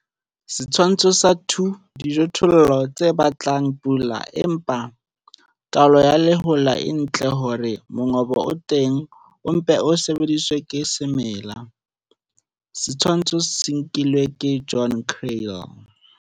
Setshwantsho sa 2, dijothollo tse batlang pula, empa taolo ya lehola e ntle hore mongobo o teng o mpe o sebediswe ke semela. Setshwantsho se nkilwe ke Johan Kriel.